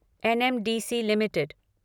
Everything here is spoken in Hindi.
NMDC limited